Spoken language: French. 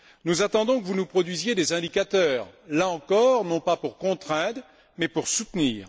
Nous attendons que vous nous produisiez des indicateurs, là encore, non pas pour contraindre, mais pour soutenir.